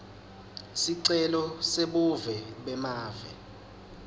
sicelo sebuve bemave